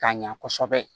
K'a ɲa kosɛbɛ